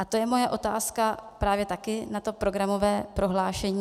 A to je moje otázka právě taky na to programové prohlášení.